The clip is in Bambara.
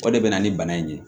O de bɛ na ni bana in ye